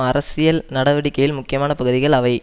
அரசியல் நடவடிக்கையில் முக்கியமான பகுதிகள் அவை